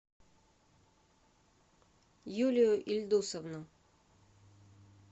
юлию ильдусовну